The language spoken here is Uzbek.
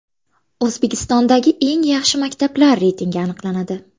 O‘zbekistondagi eng yaxshi maktablar reytingi aniqlanadi.